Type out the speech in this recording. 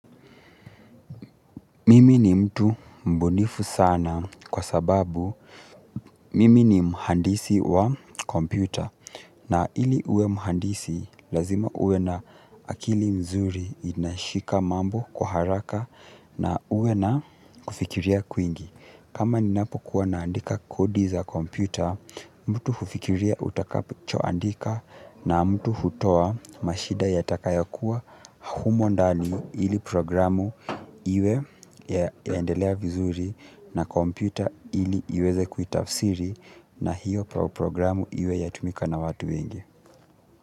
Mimi ni mtu mbunifu sana kwa sababu mimi ni mhandisi wa kompyuta na ili uwe mhandisi lazima uwe na akili mzuri inashika mambo kwa haraka na uwe na kufikiria kwingi. Kama ninapo kuwa naandika kodi za komputa, mtu hufikiria utakachoandika na mtu hutoa mashida yatakayo kuwa humo ndani ili programu iwe yaendelea vizuri na kompyuta ili iweze kuitafsiri na hiyo programu iwe yatumika na watu wengi.